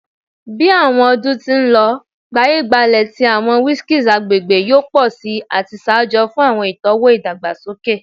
Bi awọn ọdun ti n lọ, gbaye-gbale ti awọn whiskeys agbegbe yoo pọ si ati ṣaajo fun awọn itọwo idagbasoke.